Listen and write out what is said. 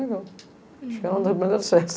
Acho que era uma das melhores festas.